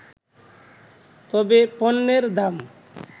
তবে পণ্যের দাম